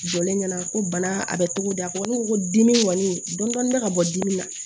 Jɔlen ɲɛna ko bana a bɛ togo di a ko ne ko ko dimi kɔni dɔn bɛ ka bɔ dimi na